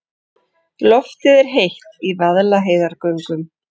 Loftið er heitt í Vaðlaheiðargöngum.